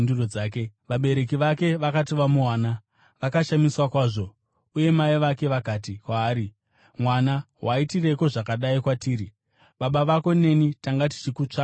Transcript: Vabereki vake vakati vamuwana, vakashamiswa kwazvo. Mai vake vakati kwaari, “Mwana, waitireiko zvakadai kwatiri? Baba vako neni tanga tichikutsvaka kwazvo.”